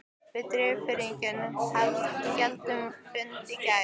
Við Dýrfirðingar héldum fund í gær.